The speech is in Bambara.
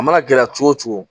A mana gɛlɛya cogo cogo